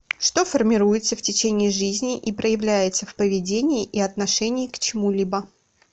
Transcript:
что формируется в течение жизни и проявляется в поведении и отношении к чему либо